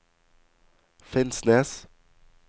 Finnsnes